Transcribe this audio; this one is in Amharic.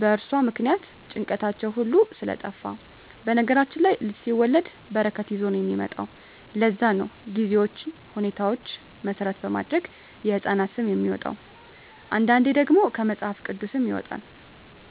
በእርሷ ምክንያት ጭንቀታቸዉ ሁሉ ስለጠፍ በነገራችን ላይ ልጅ ሲወለድ በረከት ይዞ ነዉ የሚመጣዉ ለዛ ነዉ ጊዜዎችን ሁኔታዎች መሰረት በማድረግ የህፃናት ስም የሚወጣዉ አንዳንዴ ደግሞ ከመፅሀፍ ቅዱስም ይወጣል